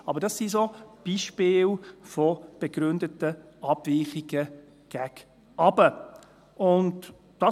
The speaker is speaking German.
Aber das sind solche Beispiele von begründeten Abweichungen gegen unten.